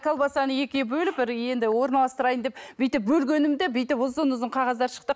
колбасаны екіге бөліп енді орналастырайын деп бүйтіп бөлгенімде бүйтіп ұзын ұзын қағаздар шықты